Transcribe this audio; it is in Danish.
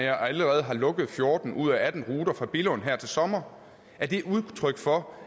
allerede har lukket fjorten ud af atten ruter fra billund her til sommer udtryk for